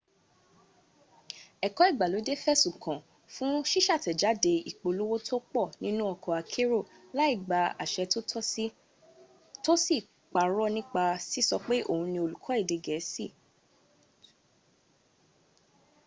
ẹ̀kọ́ ìgbàlódé fẹ̀sùn kàán fún ṣíṣàtẹ̀jáde ìpolówó tó pọ̀ nínu ọkọ̀ akérò láì gba àṣẹ tó sì parọ́ nípa síso pé òhun ní olùkọ́ èdè gẹ̀ẹ́sì